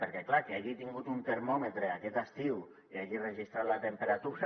perquè clar qui hagi tingut un termòmetre aquest estiu i hagi enregistrat la temperatura